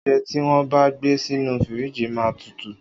Oúnjẹ ti won bà gbe sínù fírìgi màa ń tútù